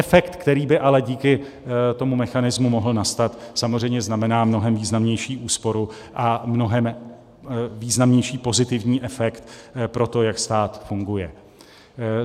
Efekt, který by ale díky tomu mechanismu mohl nastat, samozřejmě znamená mnohem významnější úsporu a mnohem významnější pozitivní efekt pro to, jak stát funguje.